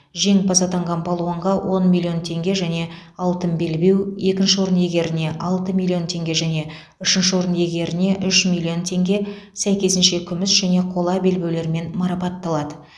жеңімпаз атанған палуанға он миллион теңге және алтын белбеу екінші орын иегеріне алты миллион теңге және үшінші орын иегеріне үш миллион теңге сәйкесінше күміс және қола белбеулермен марапатталады